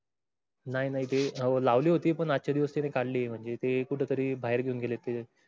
नाही नाही ते हो लावली होती. पण मागचे दिवस काडली म्हंजे ते कुटतरी बाहीर घेऊन गेले ते